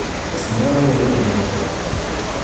смелые игры